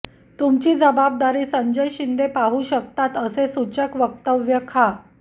तुमची जबाबदारी संजय शिंदे पाहू शकतात असे सुचक वक्तव्य खा